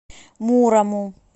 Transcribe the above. мурому